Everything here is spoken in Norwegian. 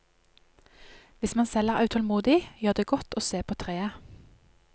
Hvis man selv er utålmodig, gjør det godt å se på treet.